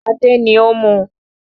Adé ni ó mú un